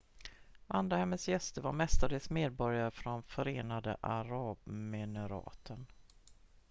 vandrarhemmets gäster var mestadels medborgare från förenade arabemiraten